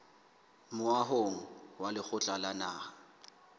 moahong wa lekgotla la naha